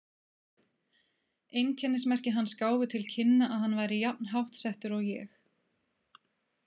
Einkennismerki hans gáfu til kynna að hann væri jafn háttsettur og ég.